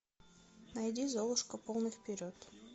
найди золушка полный вперед